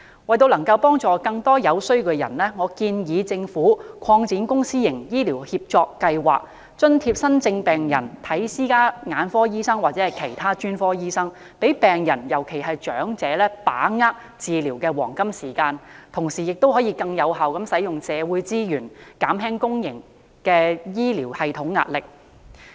為了幫助更多有需要人士，我建議政府擴展公私營醫療協作計劃、津貼新症病人向私家眼科醫生或其他專科醫生求診，讓病人把握治療的黃金時間，同時亦可更有效地運用社會資源，減輕公營醫療系統的壓力。